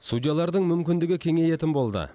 судьялардың мүмкіндігі кеңейетін болды